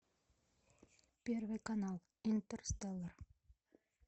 первый канал интерстеллар